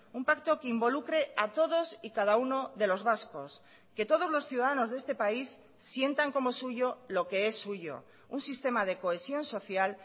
un pacto que involucre a todos y cada uno de los vascos que todos los ciudadanos de este país sientan como suyo lo que es suyo un sistema de cohesión social